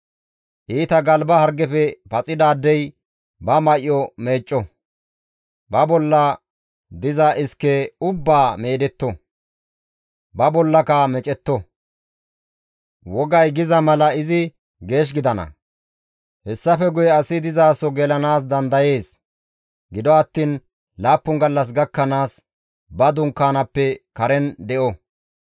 «Iita galba hargefe paxidaadey ba may7o meecco; ba bolla diza iske ubbaa meedetto; ba bollaka meecetto; wogay giza mala izi geesh gidana; hessafe guye asi dizaso gelanaas dandayees; gido attiin laappun gallas gakkanaas izi ba dunkaanaappe karen de7o.